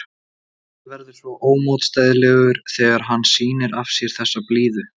Hann verður svo ómótstæðilegur þegar hann sýnir af sér þessa blíðu.